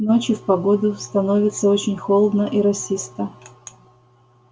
к ночи в погоду становится очень холодно и росисто